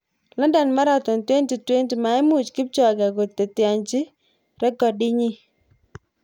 London Marathon 2020: Maimuch Kipchoge koteteanchi rekidinyi